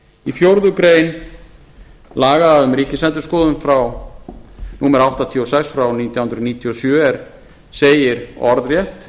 í fjórða grein laga um ríkisendurskoðun númer áttatíu og sex frá nítján hundruð níutíu og sjö segir orðrétt